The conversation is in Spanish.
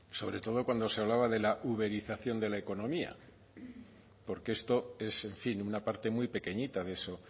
sobre todo cuando se hablaba de la uberización de la economía porque esto es en fin una parte muy pequeñita de eso